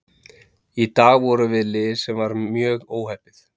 Í dag vorum við lið sem var mjög óheppið.